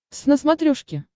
твз на смотрешке